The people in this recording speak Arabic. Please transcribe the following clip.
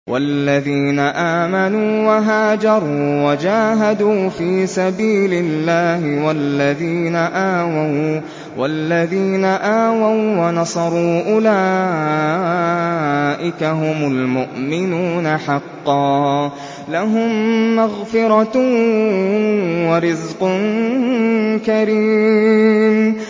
وَالَّذِينَ آمَنُوا وَهَاجَرُوا وَجَاهَدُوا فِي سَبِيلِ اللَّهِ وَالَّذِينَ آوَوا وَّنَصَرُوا أُولَٰئِكَ هُمُ الْمُؤْمِنُونَ حَقًّا ۚ لَّهُم مَّغْفِرَةٌ وَرِزْقٌ كَرِيمٌ